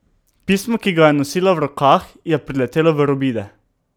Pismo, ki ga je nosila v rokah, je priletelo v robide.